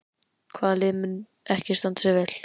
Hvaða lið mun ekki standa sig vel?